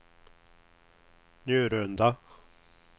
Njurunda